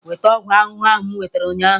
Weta ọgwụ ahụhụ ahụ m nwetara ụnyaahụ!